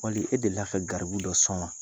Wali e delila ka garibu dɔ sɔn wa ?